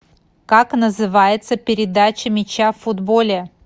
как называется передача мяча в футболе